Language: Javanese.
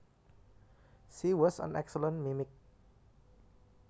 She was an excellent mimic